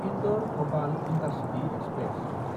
इन्दर–भपाल intercity express